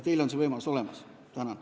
Teil on võimalus vastavalt hääletada.